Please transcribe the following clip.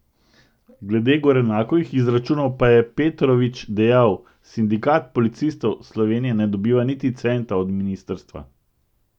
Glede Gorenakovih izračunov pa je Petrović dejal: "Sindikat policistov Slovenije ne dobiva niti centa od ministrstva.